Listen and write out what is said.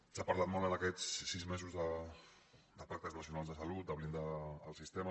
s’ha parlat molt en aquests sis mesos de pactes nacionals de salut de blindar el sistema